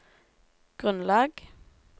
grunnlag